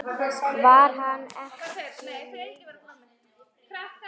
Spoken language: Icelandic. Var hann ekki leiður?